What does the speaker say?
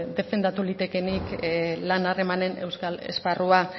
defendatu litekeenik lan harremanen euskal esparrua